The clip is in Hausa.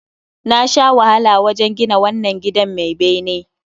Na sha wahala wajen gina wannan gidan mai bene